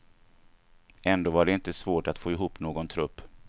Ändå var det inte svårt att få ihop någon trupp.